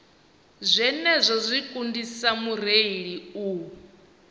zwenezwo zwi kundisa mureili u